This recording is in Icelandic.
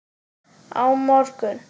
Á morgun?